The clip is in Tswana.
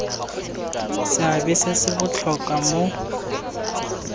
seabe se se botlhokwa mo